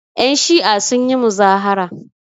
Yanshi'a sun yi muzahara.